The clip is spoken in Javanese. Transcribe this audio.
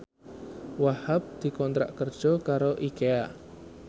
Wahhab dikontrak kerja karo Ikea